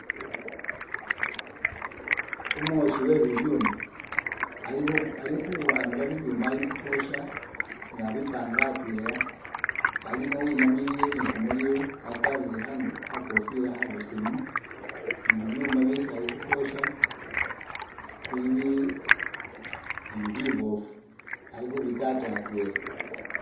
Umwoshi uwe bibyuma, ali ali khu'amba bi byuma ali khukhwosha nga abipanga atwela alimo winamiliye ni kumulilo wakwarire kha kofila kha besemu ni bibyuma byesi ali khukhwosha bili bi nabyo bibofu ali khu bikata atwela.